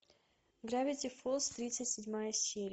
гравити фолз тридцать седьмая серия